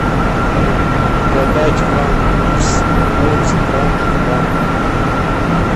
продать франк курс по центральному банку